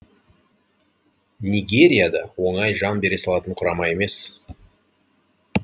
нигерия да оңай жан бере салатын құрама емес